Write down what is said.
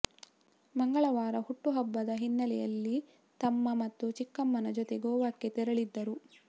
ಮಂಗಳವಾರ ಹುಟ್ಟು ಹಬ್ಬದ ಹಿನ್ನೆಲೆಯಲ್ಲಿ ತಮ್ಮ ಮತ್ತು ಚಿಕ್ಕಮ್ಮನ ಜೊತೆ ಗೋವಾಕ್ಕೆ ತೆರಳಿದ್ದರು